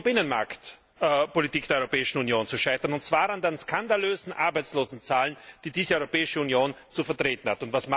Und nun droht die Binnenmarktpolitik der Europäischen Union zu scheitern, und zwar an den skandalösen Arbeitslosenzahlen, die diese Europäische Union zu vertreten hat.